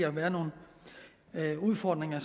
være nogle udfordringer